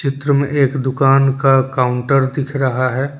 चित्र में एक दुकान का काउंटर दिख रहा है।